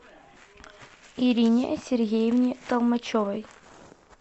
ирине сергеевне толмачевой